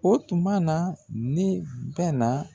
O tuma na ne bɛn na